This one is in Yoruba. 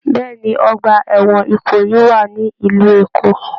Bẹẹni, ọgbà ẹwọn Ìkòyí wà nílu Èkó.